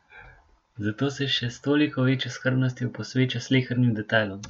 Zato se še s toliko večjo skrbnostjo posveča slehernim detajlom.